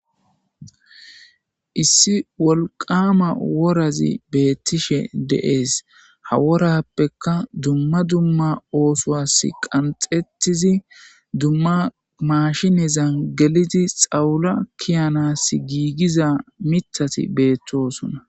Issi wolqama worazi beettishe deees ha worappeka dumma dumma oosowas qanxettizi dumma maashinezan gelidi xawula kiyanas giigiza mithati beettosona.